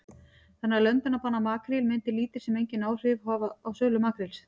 Þorbjörn: Þannig að löndunarbann á makríl myndi lítil sem enginn áhrif hafa á sölu makríls?